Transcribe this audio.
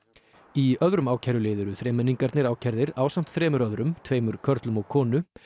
í öðrum ákærulið eru þremenningarnir ákærðir ásamt þremur öðrum tveimur körlum og konu